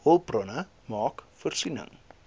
hulpbronne maak voorsiening